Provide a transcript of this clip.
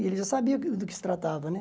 E ele já sabia do do que se tratava, né?